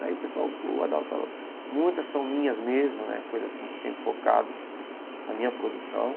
Aí o pessoal, o Adalto muitas são minhas mesmo né, coisa assim que eu tenho focado na minha produção.